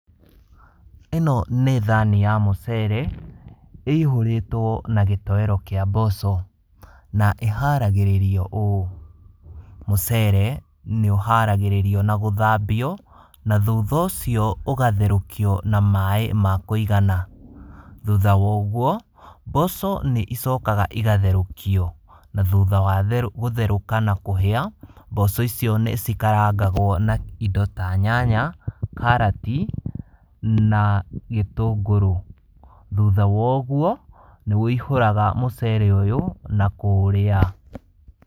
Ĩno nĩ thani ya mũcere ĩihũrĩtwo na gĩtoero kĩa mboco, na ĩharagĩrĩrio ũũ: Mũcere nĩ ũharagĩrĩrio na gũthambio, na thutha ũcio ũgatherũkio na maĩ ma kũigana. Thutha wa ũguo, mboco nĩ icokaga igatherũkio na thutha wa gũtherũka na kũhĩa, mboco icio nĩ cikarangagwo na indo ta nyanya, karati na gĩtũngũrũ. Thutha wa ũguo nĩ wũihũraga mũcere ũyũ na kũũrĩa.